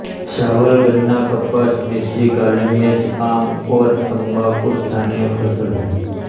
चावल गन्ना कपास मिर्ची काली मिर्च आम और तम्बाकू स्थानीय फसल हैं